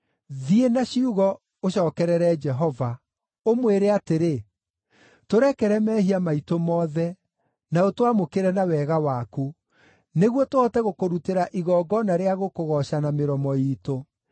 Thiĩ na ciugo ũcookerere Jehova, ũmwĩre atĩrĩ, “Tũrekere mehia maitũ mothe, na ũtwamũkĩre na wega waku, nĩguo tũhote gũkũrutĩra igongona rĩa gũkũgooca na mĩromo iitũ.